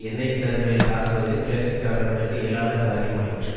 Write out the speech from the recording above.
எண்ணெய் கிணறுகளை தாக்குவது கிளர்ச்சிக்காரர்களுக்கு இயலாத காரியமாயிற்று